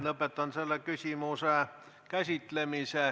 Lõpetan selle küsimuse käsitlemise.